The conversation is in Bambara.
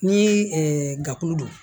Ni gafe don